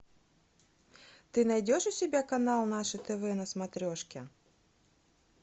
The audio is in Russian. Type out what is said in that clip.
ты найдешь у себя канал наше тв на смотрешке